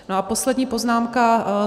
No a poslední poznámka.